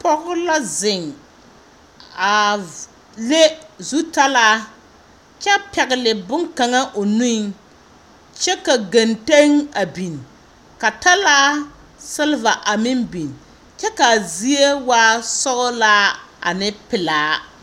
Pɔge la zeŋ a v… le zutalaa kyɛ pŋɛgele bone kaŋa o nuŋ kyɛ ka genteŋ a biŋ, ka talaa selba a biŋ kyɛ ka zie waa sɔgelaa ne pelaa.